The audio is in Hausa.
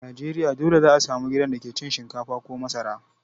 A Najeriya dole za a samu gidan da ke cin shinkafa ko masara.